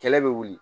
Kɛlɛ bɛ wuli